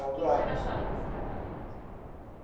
O que que o senhor achava desse tratamento?